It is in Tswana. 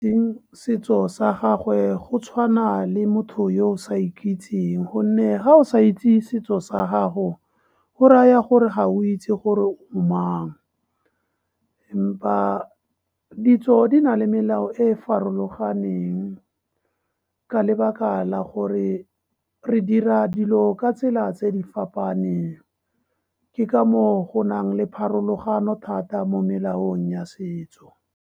Setso sa gagwe go tshwana le motho yo o sa iketseng, gonne ga o sa itse setso sa gago, go raya gore ga o itse gore o mang. Empa ditso di na le melao e e farologaneng ka lebaka la gore re dira dilo ka tsela tse di fapaneng. Ke ka moo go nang le pharologano thata mo melaong ya setso.